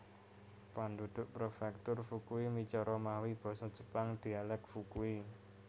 Penduduk Prefektur Fukui micara mawi Basa Jepang dialek Fukui